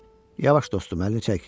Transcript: Yavaş dostum, əlini çək.